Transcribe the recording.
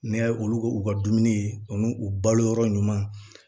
N'i y'a ye olu k'u ka dumuni u n'u u balo yɔrɔ ɲuman